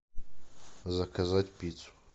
заказать пиццу